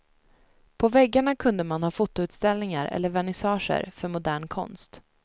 På väggarna kunde man ha fotoutställningar eller vernissager för modern konst.